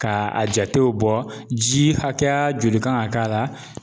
Ka a jatew bɔ ji hakɛya joli kan ga k'a la